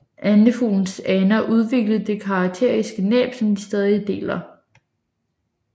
Andefuglenes aner udviklede det karakteristiske næb som de stadig deler